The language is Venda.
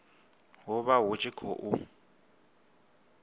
hu vha hu tshi khou